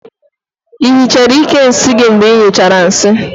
I hichara íkè nsị gị mgbe ịnyụchara nsị?